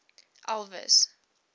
elvis